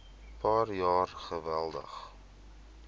paar jaar geweldig